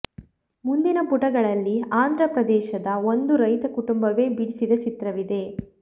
ಮುಂದಿನ ಪುಟಗಳಲ್ಲಿ ಆಂಧ್ರ ಪ್ರದೇಶದ ಒಂದು ರೈತ ಕುಟುಂಬವೇ ಬಿಡಿಸಿದ ಚಿತ್ರವಿದೆ